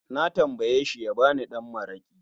Na tambayeshi ya ba ni ɗan mara'ki